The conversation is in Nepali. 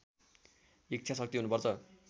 इच्छा शक्ति हुनुपर्छ